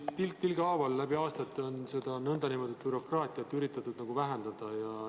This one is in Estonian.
Tilk tilga haaval läbi aastate on seda bürokraatiat üritatud vähendada.